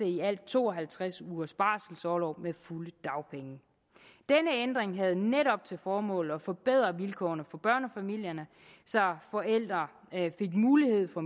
i alt to og halvtreds ugers barselorlov med fulde dagpenge denne ændring havde netop til formål at forbedre vilkårene for børnefamilierne så forældre fik mulighed for